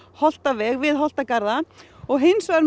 Holtaveg við Holtagarða og hins vegar